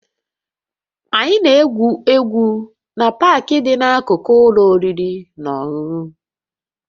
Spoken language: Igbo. Anyị na-egwu egwu na Park dị n'akụkụ ụlọ oriri na ọṅụṅụ